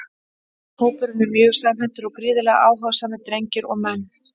Hópurinn er mjög samhentur og gríðarlega áhugasamir drengir og menn!